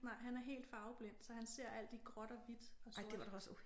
Nej han er helt farveblind så han ser alt i gråt og hvidt og sort